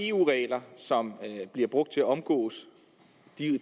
eu regler som bliver brugt til at omgå